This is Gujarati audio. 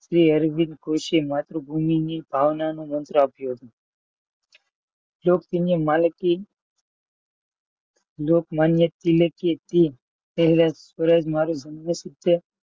માત્ર ભૂમિની ભાવનાનું મંત્ર આપ્યું હતું લોકમાન્ય ટીલકી તે પહેલા સ્વરાજ મારો જન્મસિદ્ધ